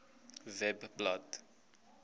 webblad